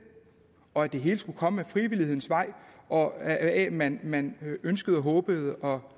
og at det hele skulle komme ad frivillighedens vej og af at man man ønskede håbede og